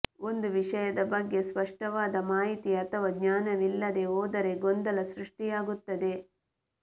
ಒಂದು ವಿಷಯದ ಬಗ್ಗೆ ಸ್ಪಷ್ಟವಾದ ಮಾಹಿತಿ ಅಥವಾ ಜ್ಞಾನವಿಲ್ಲದೆ ಹೋದರೆ ಗೊಂದಲ ಸೃಷ್ಟಿಯಾಗುತ್ತದೆ